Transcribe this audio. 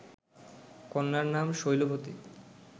কন্যার নাম শৈলবতী